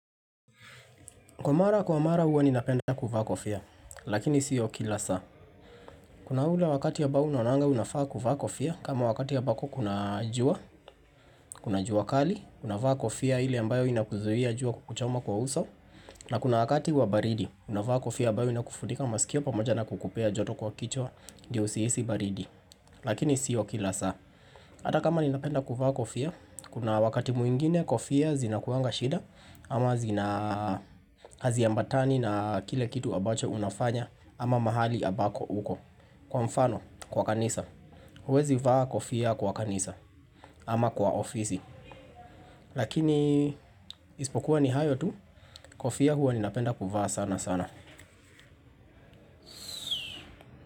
Kwa mara, kwa mara huwa ninapenda kuvaa kofia, lakini sio kila saa. Kuna ule wakati ambao unaonanga unafaa kuvaa kofia, kama wakati ambako kuna jua, kuna jua kali, unavaa kofia ile ambayo inakuzuia jua kukuchoma kwa uso, na kuna wakati wa baridi, unavaa kofia ambayo inakufunika masikio pamoja na kukupea joto kwa kichwa ndio usihisi baridi, lakini sio kila saa. Hata kama ninapenda kuvaa kofia, kuna wakati mwingine kofia zinakuanga shida ama zina haziambatani na kile kitu ambacho unafanya ama mahali ambako uko. Kwa mfano, kwa kanisa, huwezi vaa kofia kwa kanisa ama kwa ofisi. Lakini isipokuwa ni hayo tu, kofia huwa ninapenda kuvaa sana sana.